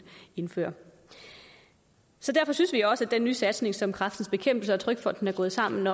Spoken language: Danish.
indføre derfor synes vi også at den nye satsning som kræftens bekæmpelse og trygfonden er gået sammen